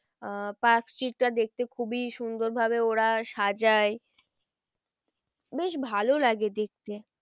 আহ park স্ট্রিকটা দেখতে খুবই সুন্দর ভাবে ওরা সাজায় বেশ ভালো লাগে দেখতে।